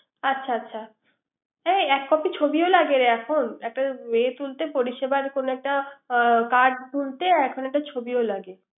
আচ্ছা আচ্ছা। এ এক কপি ছবিও লাগেরে এখন। একটা পরিসেবার কোন একটা কার্ড তুলতে এখন একটা ছবিও লাগে